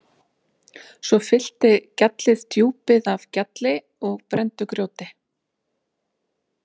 Svo fyllti gjallið djúpið af gjalli og brenndu grjóti.